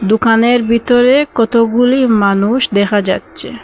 দুকানের ভিতরে কতগুলি মানুষ দেখা যাচ্ছে।